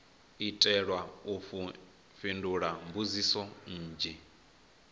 itelwa u fhindula mbudziso nnzhi